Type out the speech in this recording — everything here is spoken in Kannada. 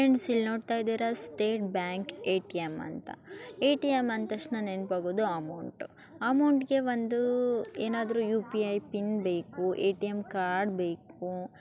ಫ್ರೆಂಡ್ಸ್ ಇಲ್ಲಿ ನೊಡ್ತಇದಿರ ಸ್ಟೇಟ್ ಬ್ಯಾಂಕ್ ಎ.ಟಿ.ಮ್ ಅಂತ ಎ.ಟಿ.ಮ್ ಅಂದ ತಕ್ಷಣ ನೆನಪಾಗೋದು ಅಮೌಂಟು ಅಮೌಂಟ್ಗೆ ಒಂದೂ ಏನಾದ್ರು ಯು.ಪಿ.ಐ ಪಿನ್ ಬೇಕು ಎ.ಟಿ.ಮ್ ಕಾರ್ಡ್ ಬೇಕು.